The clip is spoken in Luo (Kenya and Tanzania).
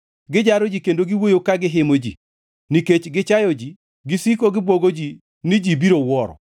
Gijaro ji kendo giwuoyo ka gihimo ji, nikech gichayo ji gisiko gibwogo ji ni ji biro wuoro.